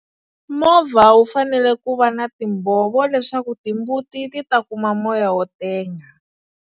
Movha wu fanele ku va na timbhovo leswaku timbuti ti ta kuma moya wo tenga.